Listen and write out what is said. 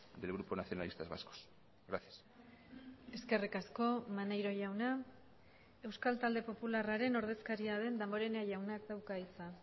del grupo nacionalistas vascos gracias eskerrik asko maneiro jauna euskal talde popularraren ordezkaria den damborenea jaunak dauka hitza